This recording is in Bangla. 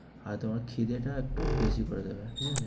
আর তোমার খিদে টা একটু বেশি করে দিবে, ঠিক আছে?